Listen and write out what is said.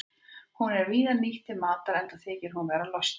Hún er víða nýtt til matar enda þykir hún vera lostæti.